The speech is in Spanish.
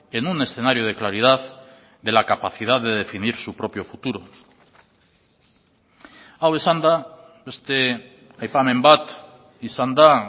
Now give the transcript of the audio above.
en un escenario de claridad de la capacidad de definir su propio futuro hau esanda beste aipamen bat izan da